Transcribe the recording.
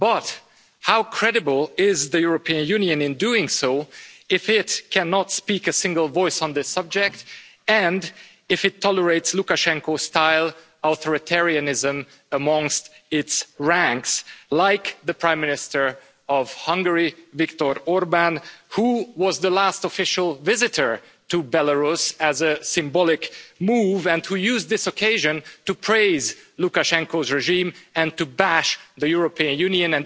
But how credible is the European Union in doing so if it cannot speak with a single voice on this subject, and if it tolerates Lukashenko-style authoritarianism amongst its ranks, like the Prime Minister of Hungary, Viktor Orbán, who was the last official visitor to Belarus as a symbolic move, and who used this occasion to praise Lukashenko's regime and to bash the European Union?